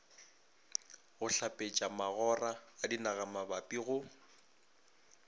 go hlapetšamagora a dinagamabapi go